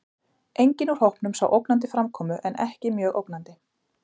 Enginn úr hópunum sá ógnandi framkomu en ekki mjög ógnandi.